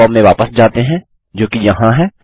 अपने फॉर्म में वापस जाते हैं जोकि यहाँ है